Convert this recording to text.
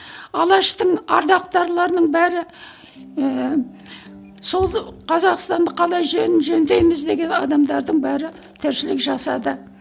алаштың ардақтарларының бәрі ііі сол қазақстанды қалай жөндейміз деген адамдардың бәрі тіршілік жасады